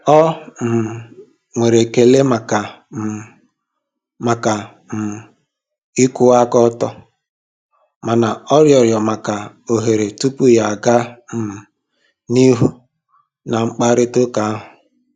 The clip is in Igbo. O um nwere ekele maka um maka um ịkwụwa aka ọtọ mana ọ rịọrọ maka ohere tupu ya aga um n'ihu na mkparịta ụka ahụ.